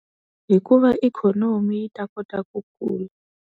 Hi ku va ikhomoni yi ta kota ku kula.